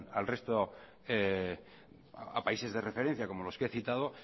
a países de referencia como los que he citado